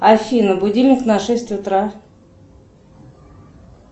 афина будильник на шесть утра